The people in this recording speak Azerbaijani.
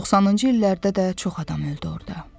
90-cı illərdə də çox adam öldü orada.